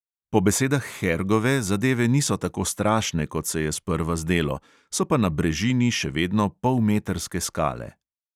Po besedah hergove zadeve niso tako strašne, kot se je sprva zdelo, so pa na brežini še vedno polmetrske skale.